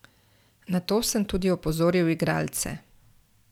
Na to sem tudi opozoril igralce.